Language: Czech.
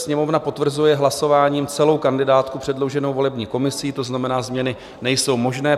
Sněmovna potvrzuje hlasováním celou kandidátku předloženou volební komisí, to znamená, změny nejsou možné.